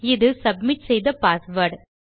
இது சப்மிட் செய்த பாஸ்வேர்ட்